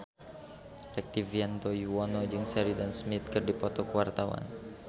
Rektivianto Yoewono jeung Sheridan Smith keur dipoto ku wartawan